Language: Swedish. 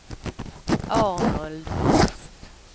Arnold Holst